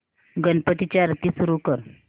गणपती ची आरती सुरू कर